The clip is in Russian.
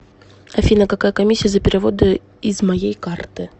афина какая комиссия за переводы из моей карты